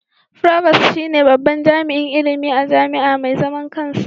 Provost shine babban jami'in ilimi a jami'a mai zaman kansa.